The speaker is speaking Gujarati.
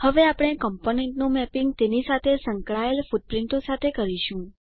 હવે આપણે કમ્પોનન્ટનું મેપિંગ તેની સાથે સંકળાયેલ ફૂટપ્રીંટો સાથે કરીશું